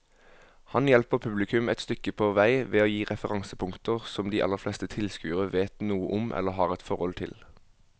Han hjelper publikum et stykke på vei ved å gi referansepunkter som de aller fleste tilskuere vet noe om eller har et forhold til.